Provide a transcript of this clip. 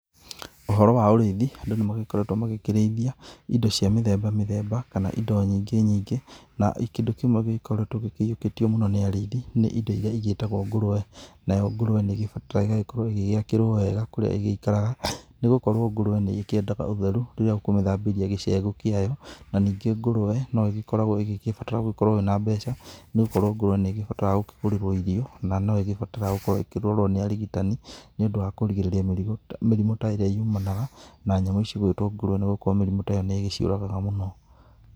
Ũhoro wa ũrĩithi, Andũ nĩmagĩkoretwo magĩkĩrĩithia indo cia mĩthemba mĩthemba, kana indo nyingĩ nyingĩ. Na kĩndũ kĩmwe gĩgĩkoretwo gĩkĩiũkĩtio mũno nĩ Arĩithi, nĩ indo iria igĩtagwo ngũrwe. Nayo ngũrwe nĩgĩbataraga ĩgagĩgĩkorwo ĩgĩgĩakĩrwo wega kũrĩa ĩgĩgĩikaraga, nĩgũkorwo ngũrwe nĩĩkĩendaga ũtheru rĩrĩa ũkũmĩthambĩria gĩcegũ kĩayo. Na ningĩ ngũrwe, noĩgĩkoragwo ĩgĩgĩkĩbatara gũkorwo wĩ na mbeca, nĩgũkorwo ngurwe nĩgĩbataraga gũkĩgũrĩrwo irio. Na no ĩgĩbataraga gũkorwo ĩkĩrorwo nĩ arigitani nĩũndũ wa kũrigĩrĩria mĩrimũ ta ĩrĩa yumanaga na nyamũ cigwĩtwo ngũrwe nĩgũkorwo mĩrimũ ta ĩyo nĩgĩciũragaga mũno.